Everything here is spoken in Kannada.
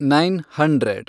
nine hundred